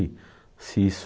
se isso,